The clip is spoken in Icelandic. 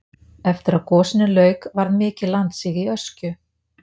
eftir að gosinu lauk varð mikið landsig í öskju